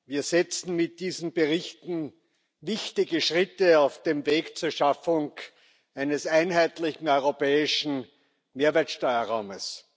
Wir setzen mit diesen Berichten wichtige Schritte auf dem Weg zur Schaffung eines einheitlichen europäischen Mehrwertsteuerraumes.